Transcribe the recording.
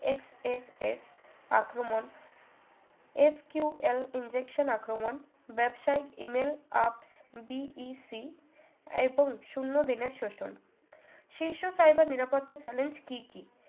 SSS আক্রমণ SQL injection আক্রমণ ব্যবসায়ীক emails up BEC এবং শুন্য দিনের শোষণ শিশু cyber নিরাপত্তার challenge কি কি